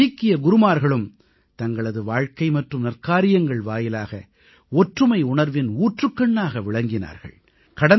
நமது சீக்கிய குருமார்களும் தங்களது வாழ்க்கை மற்றும் நற்காரியங்கள் வாயிலாக ஒற்றுமை உணர்வின் ஊற்றுக்கண்ணாக விளங்கினார்கள்